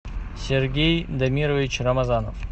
сергей дамирович рамазанов